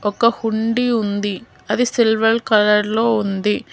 ఒక కుండీ ఉంది అది సిల్వర్ కలర్ లో ఉంది.